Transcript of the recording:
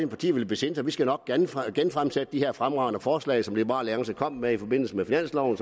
partier vil besinde sig vi skal nok genfremsætte de her fremragende forslag som liberal alliance kom med i forbindelse med finansloven